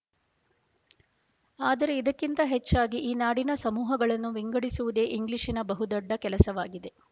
ಆದರೆ ಇದಕ್ಕಿಂತ ಹೆಚ್ಚಾಗಿ ಈ ನಾಡಿನ ಸಮೂಹಗಳನ್ನು ವಿಂಗಡಿಸುವುದೇ ಇಂಗ್ಲಿಶಿನ ಬಹುದೊಡ್ಡ ಕೆಲಸವಾಗಿದೆ